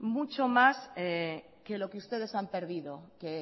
mucho más que lo que ustedes han perdido que